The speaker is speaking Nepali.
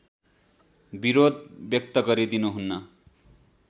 विरोध व्यक्त गरिदिनुहुन